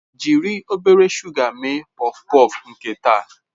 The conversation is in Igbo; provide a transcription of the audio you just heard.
Jiri obere shuga mee pọfpọf nke taa.